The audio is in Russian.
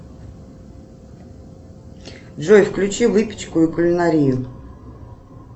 джой включи выпечку и кулинарию